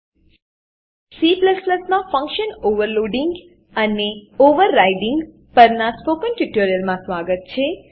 C માં function overloading and overriding function overloading અને overriding પરનાં સ્પોકન ટ્યુટોરીયલમાં સ્વાગત છે